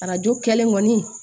Arajo kɛlen kɔni